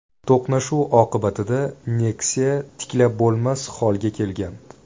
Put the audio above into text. To‘qnashuv oqibatida Nexia tiklab bo‘lmas holga kelgan.